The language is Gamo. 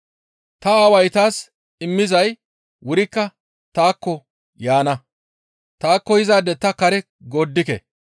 Ta Aaway taas immizay wurikka taakko yaana; taakko yizaade ta kare gooddike.